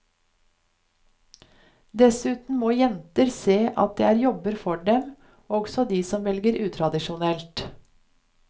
Dessuten må jenter se at det er jobber for dem, også de som velger utradisjonelt.